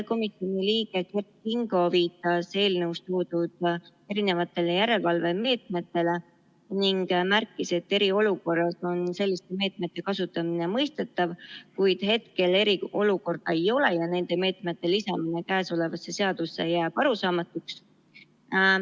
Komisjoni liige Kert Kingo viitas eelnõus toodud erinevatele järelevalvemeetmetele ning märkis, et eriolukorras on selliste meetmete kasutamine mõistetav, kuid hetkel eriolukorda ei ole ja nende meetmete lisamine käesolevasse seadusesse jääb arusaamatuks.